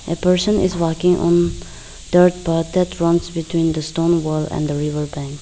a person is walking on dirt path that runs between the stone wall and the river bank.